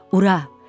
Ura!